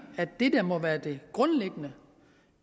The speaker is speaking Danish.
at det der må være det grundlæggende